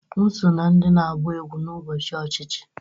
M so na ndị na-agba egwú n'ụbọchị ochichi